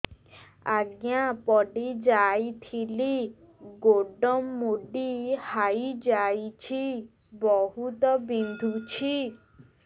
ଆଜ୍ଞା ପଡିଯାଇଥିଲି ଗୋଡ଼ ମୋଡ଼ି ହାଇଯାଇଛି ବହୁତ ବିନ୍ଧୁଛି